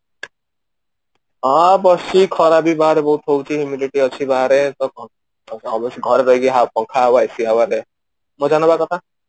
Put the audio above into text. ହଁ ବସିଛି ଖରା ବି ବାହାରେ ବହୁତ ହଉଛି immunity ଅଛି ବାହାରେ ତ obviously ଘରେ ରହିକି ୟାହା ପଙ୍ଖା ହାୱା AC ହାୱା ରେ ମଜା ନବା କଥା